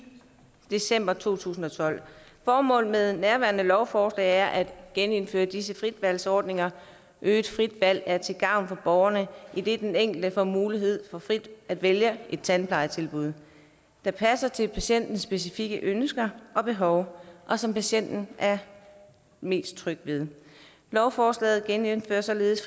december to tusind og tolv formålet med nærværende lovforslag er at genindføre disse fritvalgsordninger øget frit valg er til gavn for borgerne idet den enkelte får mulighed for frit at vælge et tandplejetilbud der passer til patientens specifikke ønsker og behov og som patienten er mest tryg ved lovforslaget genindfører således